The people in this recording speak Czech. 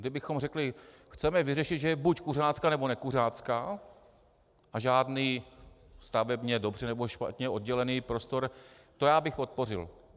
Kdybychom řekli: Chceme vyřešit, že je buď kuřácká, nebo nekuřácká, a žádný stavebně dobře nebo špatně oddělený prostor, to já bych podpořil.